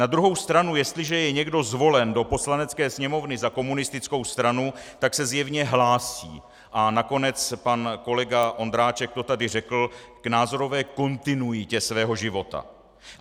Na druhou stranu, jestliže je někdo zvolen do Poslanecké sněmovny za komunistickou stranu, tak se zjevně hlásí, a nakonec pan kolega Ondráček to tady řekl, k názorové kontinuitě svého života.